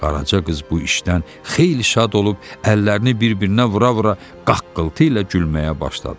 Qaraca qız bu işdən xeyli şad olub əllərini bir-birinə vura-vura qaqqıltı ilə gülməyə başladı.